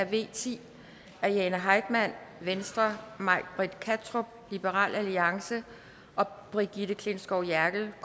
v ti af jane heitmann may britt kattrup og brigitte klintskov jerkel